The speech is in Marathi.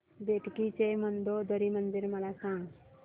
बेटकी चे मंदोदरी मंदिर मला सांग